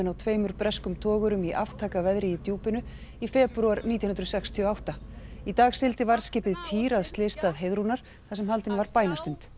tveimur breskum togurum í aftakaveðri í djúpinu í febrúar nítján hundruð sextíu og átta í dag sigldi varðskipið týr að slysstað Heiðrúnar þar sem haldin var bænastund